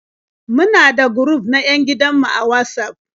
Muna da guruf na 'yan gidan mu a Watsaf.